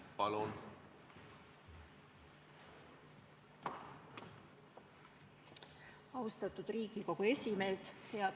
Austatud Riigikogu esimees!